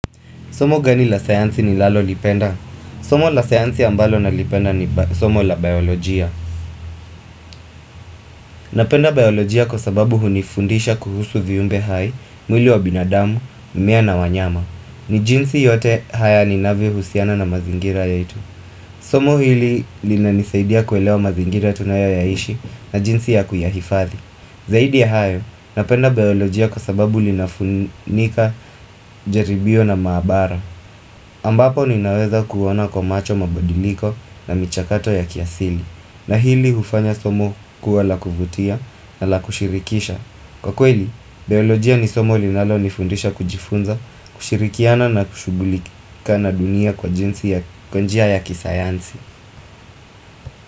Somo gani la sayansi ni lallolipenda? Somo la sayansi ambalo nalipenda ni somo la biolojia. Napenda biolojia kwa sababu hunifundisha kuhusu viumbe hai, mwili wa binadamu, mimea na wanyama. Ni jinsi yote haya ninavyo husiana na mazingira ya itu. Somo hili linanisaidia kuelewa mazingira tunayo yaishi na jinsi ya kuyahifadhi. Zaidi ya hayo, napenda biolojia kwa sababu linafunika jaribio na maabara. Ambapo ninaweza kuwana kwa macho mabadiliko na michakato ya kiasili na hili ufanya somo kuwa la kuvutia na la kushirikisha Kwa kweli, biolojia ni somo linalo nifundisha kujifunza, kushirikiana na kushugulika na dunia kwa jinsi ya konjia ya kisayansi.